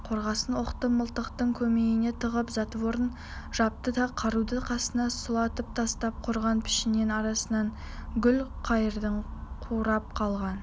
қорғасын оқты мылтықтың көмейіне тығып затворын жапты да қаруды қасына сұлатып тастап құрғақ пішеннің арасынан гүлқайырдың қурап қалған